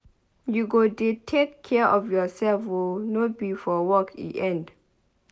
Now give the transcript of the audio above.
You go dey take care of yourself oo no be for work e end.